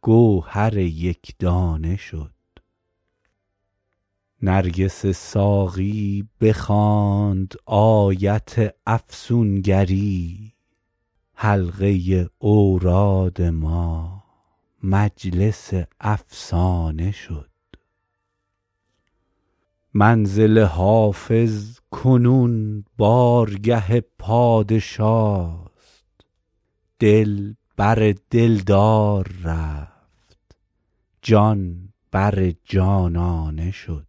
گوهر یک دانه شد نرگس ساقی بخواند آیت افسون گری حلقه اوراد ما مجلس افسانه شد منزل حافظ کنون بارگه پادشاست دل بر دل دار رفت جان بر جانانه شد